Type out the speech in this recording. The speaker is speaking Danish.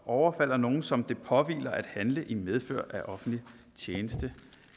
overfalder nogen som det påhviler at handle i medfør af offentlig tjeneste